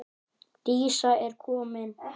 Dísa er komin!